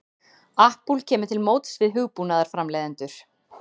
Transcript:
Apple kemur til móts við hugbúnaðarframleiðendur